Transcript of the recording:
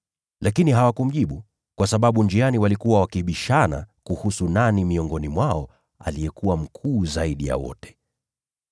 Lakini hawakumjibu, kwa sababu njiani walikuwa wakibishana kuhusu nani miongoni mwao alikuwa mkuu zaidi ya wote.